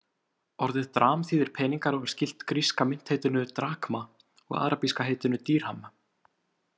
Orðið dram þýðir peningar og er skylt gríska myntheitinu „drakma“ og arabíska heitinu „dírham“.